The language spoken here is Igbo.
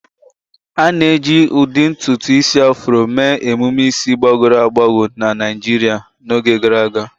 A na-eji ụdị ntutu isi Afro mee emume isi gbagọrọ agbagọ na Naijiria n'oge gara aga.